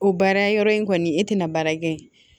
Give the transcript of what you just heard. O baara yɔrɔ in kɔni e tɛna baara kɛ yen